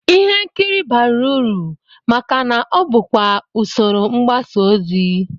Ihe nkiri bara uru maka na ọ bụkwa usoro mgbasaozi